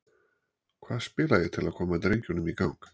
Hvað spila ég til að koma drengjunum í gang?